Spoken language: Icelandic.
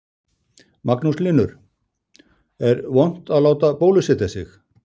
Magnús Hlynur: Er vont að láta bólusetja sig?